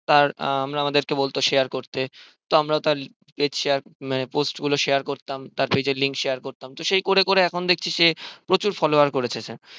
তার আমাদেরকে বলতো share করতে তো আমরা তার ইয়ে উম post গুলো share করতাম তার page link গুলো share করতাম তো সেই করে করে এখন দেখছি সে প্রচুর follower করেছে